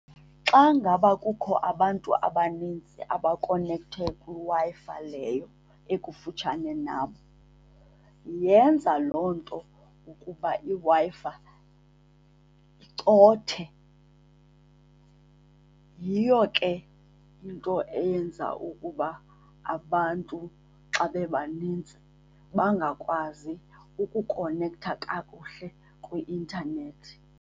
Xa ngaba kukho abantu abaninzi abakonekthe kwiWi-Fi leyo ekufutshane nam yenza loo nto ukuba iWi-Fi icothe. Yiyo ke into eyenza ukuba abantu xa bebanintsi bangakwazi ukukonektha kakuhle kwi-intanethi.